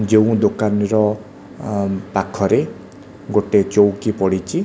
ଯେଉଁ ଦୋକାନୀର ଆଁ ପାଖରେ ଗୋଟେ ଚୋଉକି ପଡ଼ିଛି।